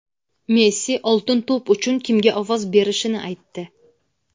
Messi "Oltin to‘p" uchun kimga ovoz berishini aytdi.